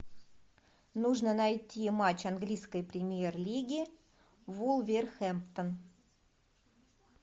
нужно найти матч английской премьер лиги вулверхэмптон